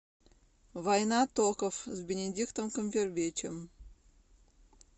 война токов с бенедиктом камбербэтчем